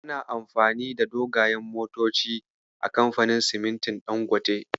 Ana amfani da dogayen motoci a kamfanin simintin Dangote.